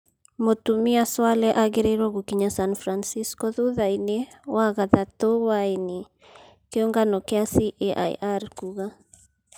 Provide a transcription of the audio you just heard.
Mũtumia Swaleh agĩrĩrwo gũkinya San francisco thuthainĩ Wagathatũ hwaĩnĩ ,kĩongano kĩa CAIR kuuga.